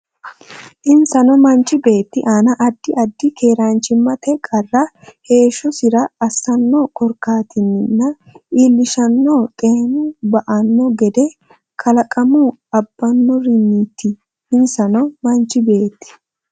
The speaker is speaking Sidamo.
Insano manchi beetti aana addi addi keeraanchimmate qarra heeshshosira assanno korkaatinninna iillishshannonna xeenu ba anno gede kalaqamu abbannorinniiti Insano manchi beetti.